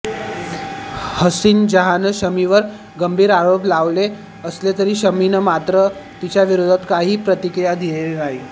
हसीन जहांनं शमीवर गंभीर आरोप लावले असले तरी शमीनं मात्र तिच्याविरोधात काहीही प्रतिक्रिया दिलेली नाही